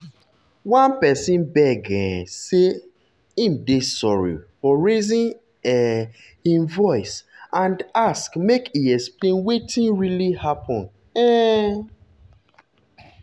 one person beg um say im dey sorry for raising um im voice and ask make e explain wetin really happen. um